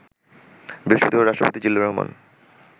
বৃহস্পতিবার রাষ্ট্রপতি জিল্লুর রহমান